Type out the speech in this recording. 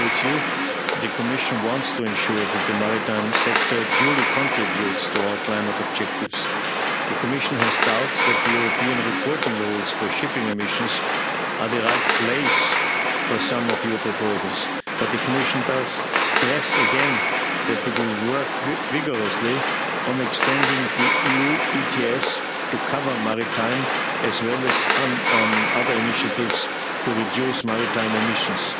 Together with you, the Commission wants to ensure that the maritime sector duly contributes to our climate objectives. The Commission has doubts that the European reporting rules for shipping emissions are the right place for some of your proposals, but the Commission does stress again that it will work vigorously on extending the EU ETS to cover maritime, as well as on other initiatives to reduce maritime emissions.